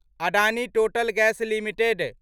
Adani Total Gas limited